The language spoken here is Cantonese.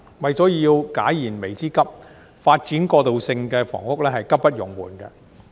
為解燃眉之急，發展過渡性房屋是急不容緩的。